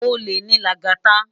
Ólé ni Lagata